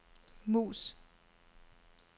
mus